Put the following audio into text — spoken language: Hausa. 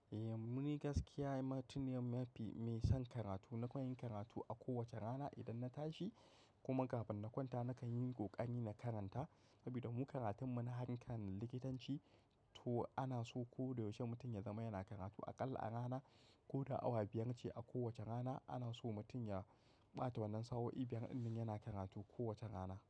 Eh, muni gaskiya mutun ne mafi mai son karatu. Na koyi karatu a kowace rana idan na tashi kuma kafin na kwanta nakan yi kokani na karanta. Saboda mu karatun mu na hankalin likitanci to ana so ko da yaushe mutum ya zama yana karatu aƙalla rana ko da awa biyar ce a kowace rana. Ana so mutum ya ɓata wannan sa'o'i biyar idan yana karatu kowace rana.